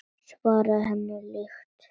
Svarið henni líkt.